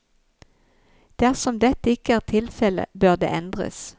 Dersom dette ikke er tilfelle, bør den endres.